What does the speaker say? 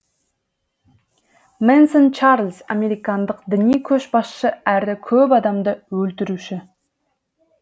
мэнсон чарльз американдық діни көшбасшы әрі көп адамды өлтіруші